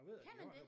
Kan man det?